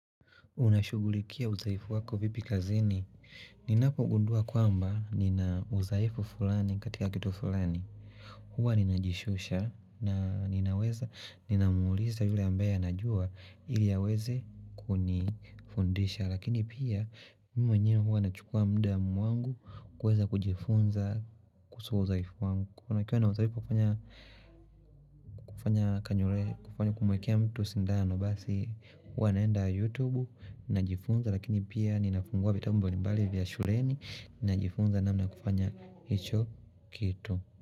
Unashugulikia uzaifu wako vipi kazini. Ninapogundua kwamba nina uzaifu fulani katika kitu fulani. Huwa ninajishusha na ninaweza ninamuliza yule ambaya anajua ili aweze kunifundisha. Lakini pia mi mwenyewe huwa nachukua mda mwangu kweza kujifunza kusu uzaifu wangu. Kwa nikiwa na uzalipo kufanya kanyure kufanya kumwekia mtu sindano basi huwa naenda yutubu najifunza lakini pia ninafungua vitambu mbalimbali vya shuleni najifunza namna ya kufanya hicho kitu.